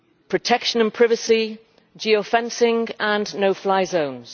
protection and privacy, geo fencing and no fly zones.